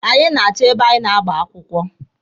Anyị na-achọ ebe anyị ga-agba akwụkwọ.